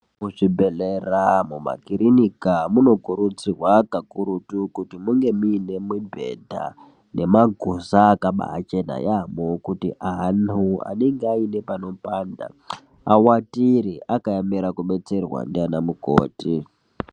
Muzvibhedhlera, mumakirinika munokurudzirwa kakurutu kuti munge muine mibhedha nemaguza akabaachena yaambo kuti antu anenge aite panopanda awatire akaemere kubetserwa ndiana mukoti.